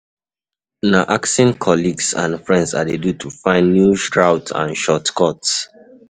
Na asking colleagues and friends I dey do to find new routes and shortcuts.